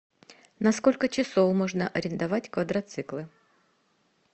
на сколько часов можно арендовать квадроциклы